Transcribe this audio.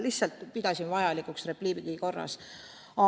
Lihtsalt pidasin vajalikuks seda repliigi korras öelda.